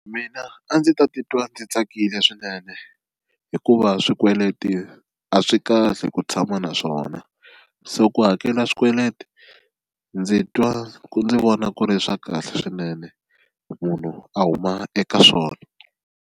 Mina a ndzi ta titwa ndzi tsakile swinene hikuva swikweleti a swi kahle ku tshama naswona so ku hakela swikweleti ndzi twa ndzi vona ku ri swa kahle swinene munhu a huma eka swona.